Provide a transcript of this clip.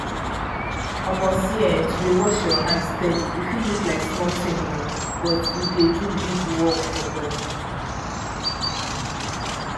um see[um]to dey wash um hand steady e fit look like small thing um but e dey do big work for body